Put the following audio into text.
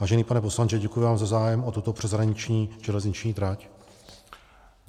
Vážený pane poslanče, děkuji vám za zájem o tuto přeshraniční železniční trať.